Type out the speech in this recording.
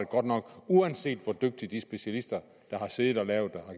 godt nok uanset hvor dygtigt de specialister der har siddet og lavet